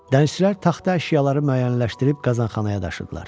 Dənizçilər taxta əşyaları müəyyənləşdirib qazanxanaya daşıdılar.